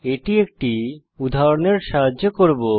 এটি একটি উদাহরণের দ্বারা করব